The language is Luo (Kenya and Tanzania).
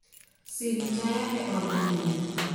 sim taya eod nindo